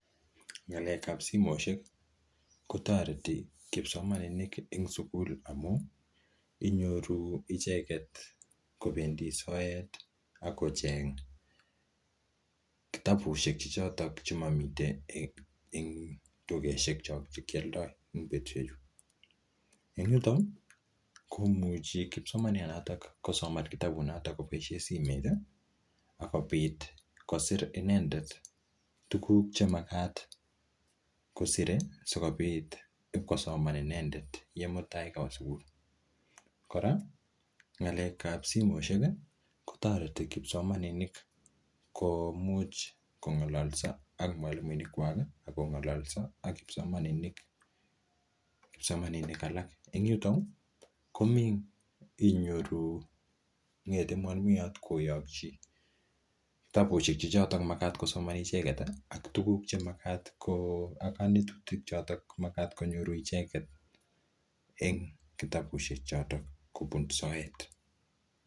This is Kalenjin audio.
Ngalekab simoishek kotoreti kipsomaninik en sugul amun inyoru icheget kobendi soet ak kocheng kitabushek choto chemomiten en tugoshek che kioldo en betushechu. En yuto komuchi kipsomaniandonoto kosoman kitabushechu koboisie simet ak kobit kosir inendet tuguk chemagt kosire sikobit ibkosoman inendet en mutai kowe sugul. Kora ng'alekab simoishek kotoreti kipsomaninik kong'oloso ak mwalimuekwak ak kong'onglolso ak kipsomaninik alak. En yuto inyoru nget mwaimuyat koyokyi kitabushek che choto magat kosoman icheget. Ak konetutik choto magat konyoru ichegte en kitabushek choto kobun soet.